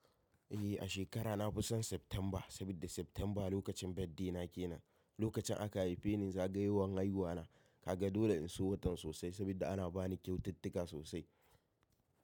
Eh a shekara na fi son Septemba saboda Septemba lokacin birthday na kenan. Lokacin aka haife ni zagayowan haihuwa na ka ga dole in so watan sosai saboda ana ba ni kyaututtuka sosai.